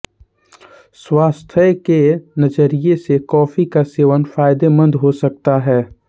स्वास्थ्य के नजरिए से कॉफी का सेवन फायदेमंद हो सकता है